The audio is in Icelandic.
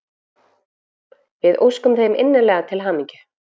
Við óskum þeim innilega til hamingju!